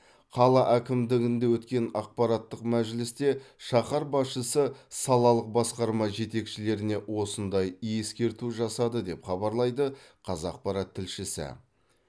қала әкімдігінде өткен аппараттық мәжілісте шаһар басшысы салалық басқарма жетекшілеріне осындай ескерту жасады деп хабарлайды қазақпарат тілшісі